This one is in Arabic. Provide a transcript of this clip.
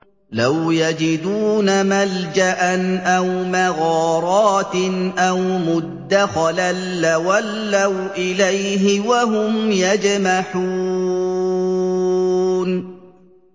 لَوْ يَجِدُونَ مَلْجَأً أَوْ مَغَارَاتٍ أَوْ مُدَّخَلًا لَّوَلَّوْا إِلَيْهِ وَهُمْ يَجْمَحُونَ